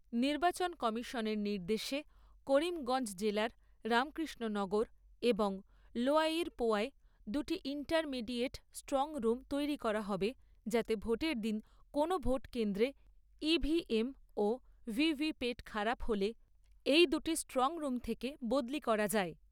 নির্বাচন কমিশনের নির্দেশে করিমগঞ্জ জেলার রামকৃষ্ণনগর এবং লোয়াইরপোয়ায় দুটি ইন্টারমিডিয়েট স্ট্রং রুম তৈরি করা হবে যাতে ভোটের দিন কোনও ভোটকেন্দ্রে ইভিএম ও ভিভিপ্যাট খারাপ হলে এই দুটি স্ট্রং রুম থেকে বদলি করা যায়।